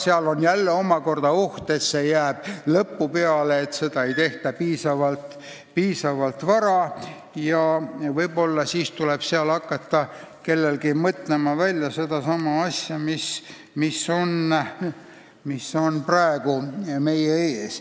Seal on ju jälle omakorda oht, et see jääb koosseisu tööaja lõppu, et seda ei tehta piisavalt vara, ja võib-olla tuleb siis kellelgi hakata mõtlema välja sedasama asja, mis on praegu meie ees.